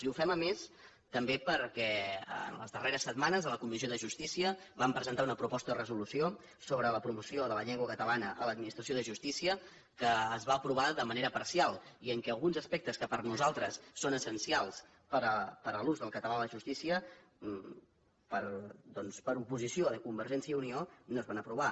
i ho fem a més també perquè les darreres setmanes a la comissió de justícia vam presentar una proposta de resolució sobre la promoció de la llengua catalana a l’administració de justícia que es va aprovar de manera parcial i en què alguns aspectes que per nosaltres són essencials per a l’ús del català a la justícia doncs per oposició de convergència i unió no es van aprovar